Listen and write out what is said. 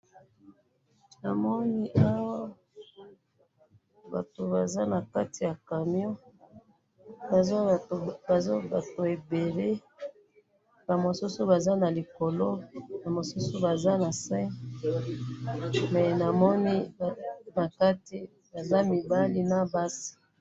namoni awa batu baza nakati ya camion baza batu ebele ba mosusu baza likolo ba mosusu baza nase pe nakati baza ba mibali na basi